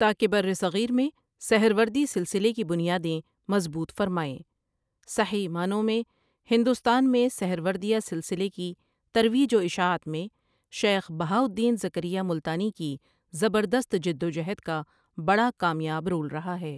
تاکہ برِّ صغیر میں سہروردی سلسلے کی بنیادیں مضبوط فرمائیں صحیح معنوں میں ہندوستان میں سہروردیہ سلسلے کی ترویج و اشاعت مین شیخ بہاء الدین زکریا ملتانی کی زبردست جدوجہد کا بڑا کامیاب رول رہا ہے ۔